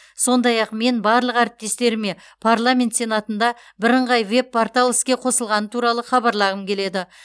сондай ақ мен барлық әріптестеріме парламент сенатында бірыңғай веб портал іске қосылғаны туралы хабарлағым келеді